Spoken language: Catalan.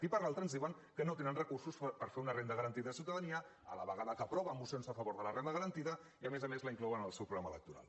i per l’altra ens diuen que no tenen recursos per fer una renda garantida de ciutadania a la vegada que aproven mocions a favor de la renda garantida i a més a més la inclouen en el seu programa electoral